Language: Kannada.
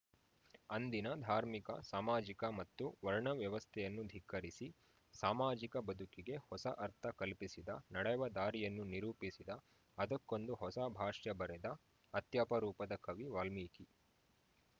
ಅಂದಿನ ಧಾರ್ಮಿಕ ಸಾಮಾಜಿಕ ಮತ್ತು ವರ್ಣ ವ್ಯವಸ್ಥೆಯನ್ನು ಧಿಕ್ಕರಿಸಿ ಸಾಮಾಜಿಕ ಬದುಕಿಗೆ ಹೊಸ ಅರ್ಥ ಕಲ್ಪಿಸಿದ ನಡೆವ ದಾರಿಯನ್ನು ನಿರೂಪಿಸಿದ ಅದಕ್ಕೊಂದು ಹೊಸ ಭಾಷ್ಯ ಬರೆದ ಅತ್ಯಪರೂಪದ ಕವಿ ವಾಲ್ಮೀಕಿ